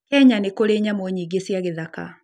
Kenya nĩ kũrĩ nyamũ nyingĩ cia gĩthaka.